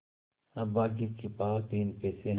अभागे के पास तीन पैसे है